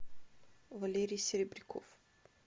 валерий серебряков